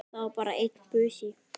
Það var bara einn busi!